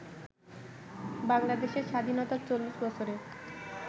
বাংলাদেশের স্বাধীনতার চল্লিশ বছরে